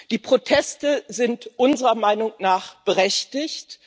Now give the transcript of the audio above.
Die Proteste sind unserer Meinung nach berechtigt.